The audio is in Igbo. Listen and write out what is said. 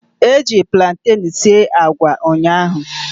Eji platen sie agwa ụnyaahụ